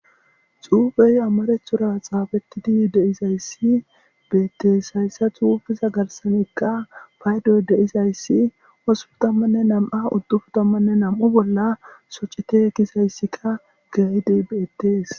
Xuufey amarethura xaafetidi deizayssi beettees hayssa xuufiza garsanikka baydoy deizayssi wosufutammanne nam7a uddufutammanne nam7u bolla socite kisayssika gayide beettees.